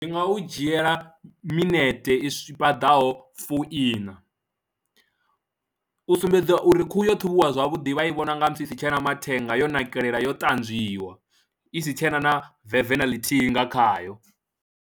Ndi nga u dzhiela minete i paḓaho fu ina, u sumbedza uri khuhu yo ṱhavhiwa zwavhuḓi vha i vhona nga musi i si tshe na mathenga yo nakelela yo ṱanzwiwa i si tshe na na veve na ḽithihi nga khayo.